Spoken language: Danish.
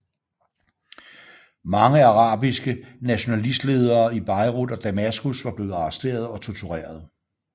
Mange arabiske nationalistledere i Beirut og Damaskus var blevet arresteret og tortureret